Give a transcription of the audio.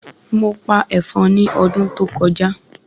Mo pa èfọn ni ọdún tó kọjá